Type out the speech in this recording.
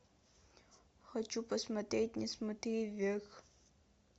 хочу посмотреть не смотри вверх